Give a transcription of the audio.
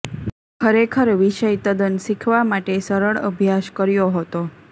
ખરેખર વિષય તદ્દન શીખવા માટે સરળ અભ્યાસ કર્યો હતો